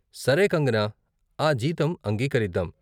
సరే కంగనా, ఆ జీతం అంగీకరిద్దాం.